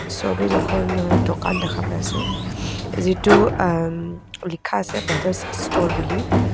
ছবিত এখন অ দোকান দেখা পাইছোঁ যিটো অহ উম লিখা আছে ব্ৰাদাৰ্ছ ষ্ট'ৰ বুলি.